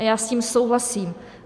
A já s tím souhlasím.